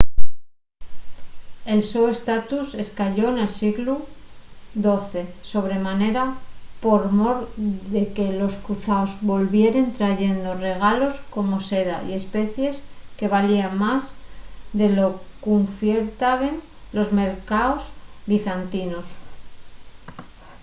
el so estatus escayó nel sieglu xii sobre manera por mor de que los cruzaos volvieren trayendo regalos como seda y especies que valíen más de lo qu’ufiertaben los mercaos bizantinos